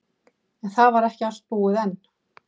En það var ekki allt búið enn.